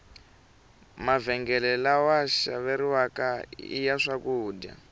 mavhengele lawa xaveriwaka iya swakudya